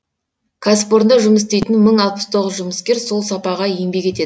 кәсіпорында жұмыс істейтін мың алпыс тоғыз жұмыскер сол сапаға еңбек етеді